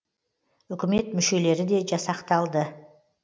үкімет мүшелері де жасақталды